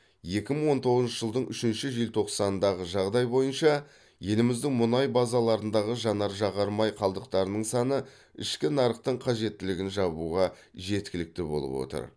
екі мың он тоғызыншы жылдың үшінші желтоқсанындағы жағдай бойынша еліміздің мұнай базаларындағы жанар жағар май қалдықтарының саны ішкі нарықтың қажеттілігін жабуға жеткілікті болып отыр